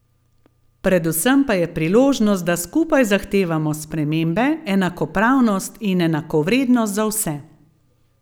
Predvsem pa je priložnost, da skupaj zahtevamo spremembe, enakopravnost in enakovrednost za vse.